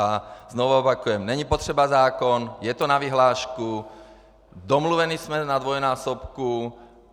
A znovu opakuji - není potřeba zákon, je to na vyhlášku, domluveni jsme na dvojnásobku.